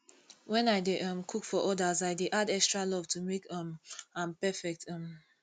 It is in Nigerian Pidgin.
when i dey um cook for others i dey add extra love to make um am perfect um